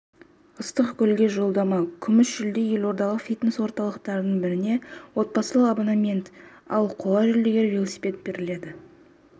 ыстық көлге жолдама күміс жүлде елордалық фитнес-орталықтардың біріне отбасылық абонемент ал қола жүлдегерлерге велосипед беріледі